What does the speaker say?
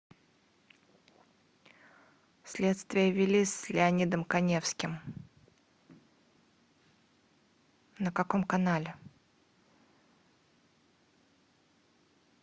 следствие вели с леонидом каневским на каком канале